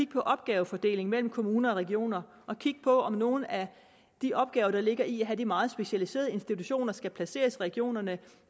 på opgavefordelingen mellem kommuner og regioner og kigge på om nogle af de opgaver der ligger i at have de meget specialiserede institutioner skal placeres i regionerne